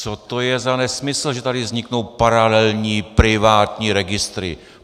Co to je za nesmysl, že tady vzniknou paralelní privátní registry?